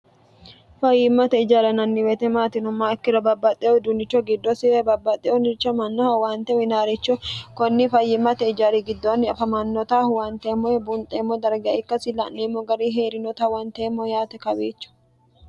fayyimmate ijara yinanni woyite maati yinummoha ikkiro babbaxxe udunicho giddosi babbaxxe mannaha owaante uyiinanniricho kunni fayyimmate ijari giddoonni afamannota huwanteemmo woy bunxeemmo darga ikkasi la'neemmo gari hee'rinota huwanteemmo yaate kawiicho